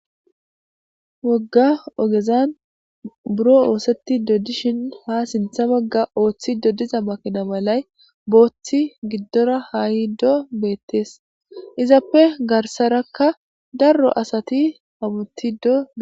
Woga ogezani buro osetishe dishin ha sinitha bagara makina malay bothi gidora hayide betes izape garisaraka daro asati do'sona